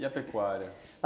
E a pecuária?